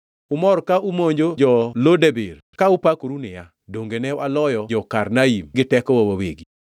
Umor ka umonjo jo-Lo Debir ka upakoru niya, “Donge ne waloyo jo-Karnaim gi tekowa wawegi?”